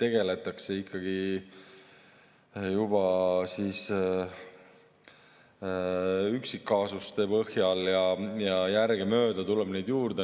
tegeldakse ikkagi üksikkaasuste põhjal ja järgemööda tuleb neid juurde.